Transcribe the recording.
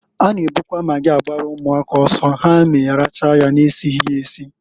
A na ebukwa magị agbalụ ụmụaka ọsọ ha eme rachaa nya na-esighi esi.